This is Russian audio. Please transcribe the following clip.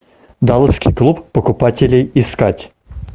далласский клуб покупателей искать